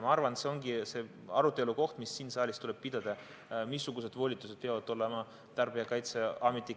Ma arvan, et see ongi see arutelu, mis siin saalis tuleb pidada: missugused volitused peavad olema Tarbijakaitseametil.